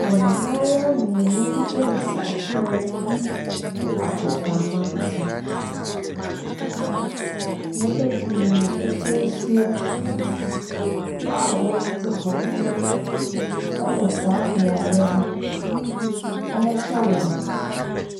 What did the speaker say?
Mmayewa mmienu bi resi akan wɔ agoprama bi so. Nnipa pii na wɔatwa ahyia a wɔte hɔ wɔ saa beaeɛ hɔ rehwɛ wɔn.